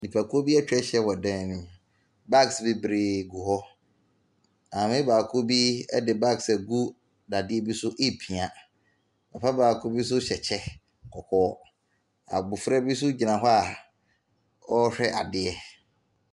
Nnipakuo bi atwa ahyia wɔ dan no mu. Bags bebree gu hɔ. Maame baako bi de bags agu dadeɛ bi so repia. Papa baako bi nso hyɛ kɔkɔɔ. Abofra bi nsoo gyina hz a ɔrehwɛ adeɛ.